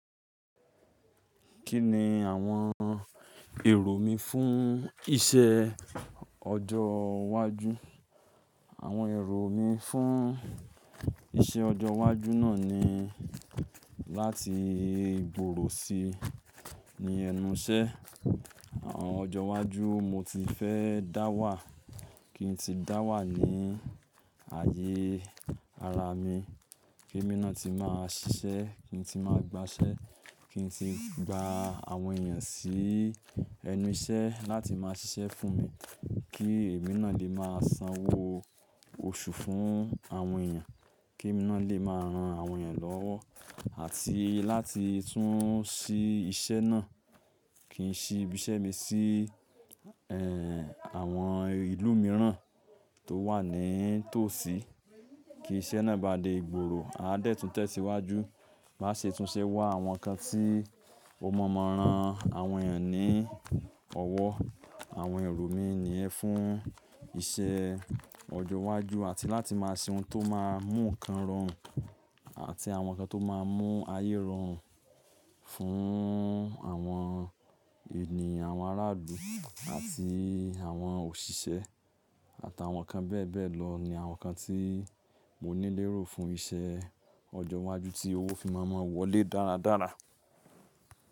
Kí ni àwọn èrò mi fún iṣẹ́ ọjọ́ iwájú? Àwọn èrò mi fún iṣẹ́ ọjọ́ iwájú náà ni láti gbòòrò si ní ẹnu iṣẹ́. Àwọn ọjọ́ iwájú mo ti fẹ́ dá wà, kí n tí dá wà ní ayé ara mi, kí èmi náà ti máa ṣiṣẹ́, kí n tí máa gbà ṣẹ́, kí n tí gba àwọn èèyàn sí ẹnu iṣẹ́ láti máa ṣiṣẹ́ fún mi, kí èmi náà lè máa sanwó oṣù fún àwọn èèyàn, kí èmi náà lè máa ran àwọn èèyàn lọ́wọ́, àti láti tún ṣí iṣẹ́ náà, kí n ṣí ibi iṣẹ́ mi sí, ẹ́, àwọn ìlú mìíràn tó wà ní tòsí. Kí iṣẹ́ náà bá dé gbòòrò, a dẹ́ẹ̀ tún tẹ̀síwájú, máa ṣe túnṣe wá àwọn nǹkan tí ó mọ̀ọ́mọ̀ ran àwọn èèyàn ní ọwọ́. Àwọn èrò mi nì yẹn fún iṣẹ́ ọjọ́ iwájú àti láti máa ṣe ohun tó máa mú nǹkan rọrùn àti àwọn nǹkan tó máa mú ayé rọrùn fún àwọn ènìyàn, àwọn aráàlú àti àwọn òṣìṣẹ́ àtàwọn nǹkan bẹ́ẹ̀ bẹ́ẹ̀ lọ, ni àwọn nǹkan tí mo nílérò fún iṣẹ́ ọjọ́ iwájú tí owó fi máa mọ wọlé dáradára.